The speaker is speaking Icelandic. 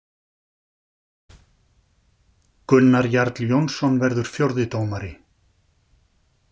Gunnar Jarl Jónsson verður fjórði dómari.